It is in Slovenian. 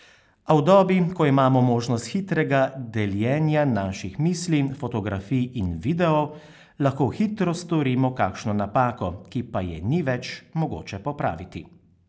A v dobi, ko imamo možnost hitrega deljenja naših misli, fotografij in videov, lahko hitro storimo kakšno napako, ki pa je ni več mogoče popraviti.